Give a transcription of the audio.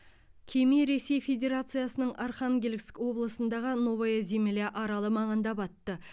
кеме ресей федерациясының архангельск облысындағы новая земля аралы маңында батты